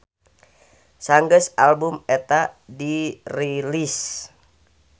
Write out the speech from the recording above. Sanggeus album eta dirilis.